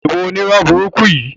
Ìwọ onírọ́ burúkú yìí!